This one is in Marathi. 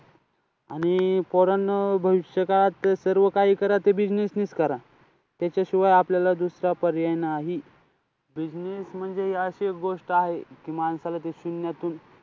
आणि पोरांनो भविष्यकाळात सर्व काही करा ते business निच करा. त्याच्याशिवाय आपल्याला दुसरा पर्याय नाही. Business म्हणजे अशी एक गोष्ट आहे की माणसाला ती शून्यातून,